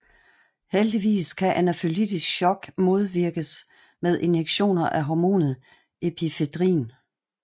Heldigvis kan anafylaktisk shock modvirkes med injektioner af hormonet epinefrin